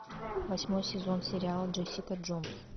восьмой сезон сериала джессика джонс